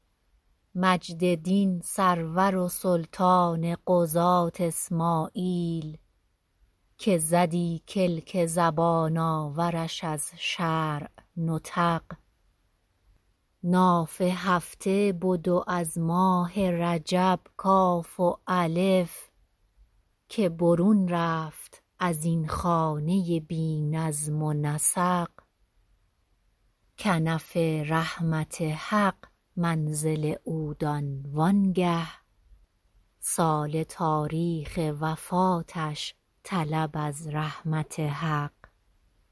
مجد دین سرور و سلطان قضات اسماعیل که زدی کلک زبان آورش از شرع نطق ناف هفته بد و از ماه رجب کاف و الف که برون رفت از این خانه بی نظم و نسق کنف رحمت حق منزل او دان و آنگه سال تاریخ وفاتش طلب از رحمت حق